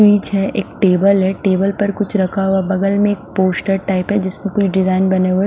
मेज़ है एक टेबल है टेबल पर कुछ रखा हुआ बगल में एक पोस्टर टाइप है जिसमे कोई डिजाइन बने हुए है।